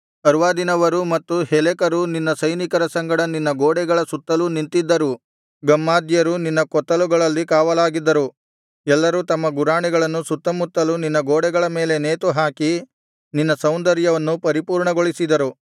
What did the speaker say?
ಅರ್ವಾದಿನವರೂ ಮತ್ತು ಹೆಲೆಕರು ನಿನ್ನ ಸೈನಿಕರ ಸಂಗಡ ನಿನ್ನ ಗೋಡೆಗಳ ಸುತ್ತಲೂ ನಿಂತಿದ್ದರು ಗಮ್ಮಾದ್ಯರು ನಿನ್ನ ಕೊತ್ತಲುಗಳಲ್ಲಿ ಕಾವಲಾಗಿದ್ದರು ಎಲ್ಲರೂ ತಮ್ಮ ಗುರಾಣಿಗಳನ್ನು ಸುತ್ತಮುತ್ತಲು ನಿನ್ನ ಗೋಡೆಗಳ ಮೇಲೆ ನೇತುಹಾಕಿ ನಿನ್ನ ಸೌಂದರ್ಯವನ್ನು ಪರಿಪೂರ್ಣಗೊಳಿಸಿದರು